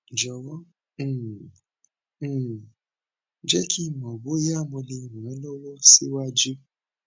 jọwọ um um jẹ ki n mọ boya mo le ran ọ lọwọ siwaju